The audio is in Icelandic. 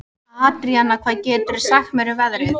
Andríana, hvað geturðu sagt mér um veðrið?